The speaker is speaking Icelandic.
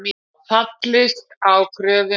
Fallist á kröfu um riftun greiðslu